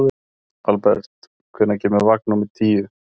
Albert, hvenær kemur vagn númer tíu?